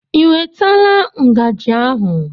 Ị wetala ngajị ahụ?